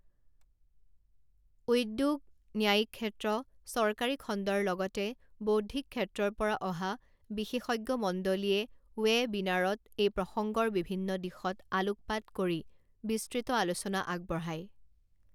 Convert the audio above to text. উদ্যোগ, ন্যায়িক ক্ষেত্ৰ, চৰকাৰী খণ্ডৰ লগতে বৌদ্ধিক ক্ষেত্ৰৰ পৰা অহা বিশেষজ্ঞমণ্ডলীয়ে ৱে বিনাৰত এই প্ৰসংগৰ বিভিন্ন দিশত আলোকপাত কৰি বিস্তৃত আলোচনা আগবঢ়ায়।